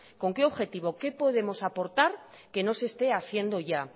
con qué objetivo qué podemos aportar que no se esté haciendo ya